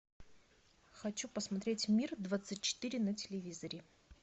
хочу посмотреть мир двадцать четыре на телевизоре